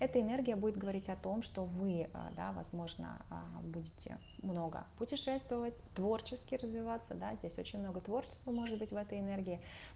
это энергия будет говорить о том что вы ээ да возможно аа будете много путешествовать творчески развиваться да здесь очень много творчество может быть в этой энергии